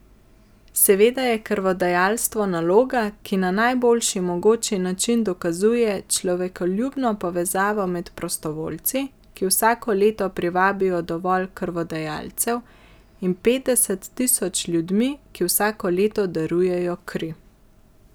Seveda je krvodajalstvo naloga, ki na najboljši mogoči način dokazuje človekoljubno povezavo med prostovoljci, ki vsako leto privabijo dovolj krvodajalcev, in petdeset tisoč ljudmi, ki vsako leto darujejo kri.